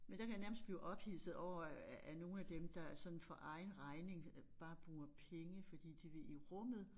Men der kan jeg nærmest blive ophidset over at nogle af dem der sådan for egen regning bare bruger penge fordi de vil i rummet